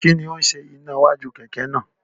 Kí ni ó ṣe iná iwájú kẹ̀kẹ́ náà?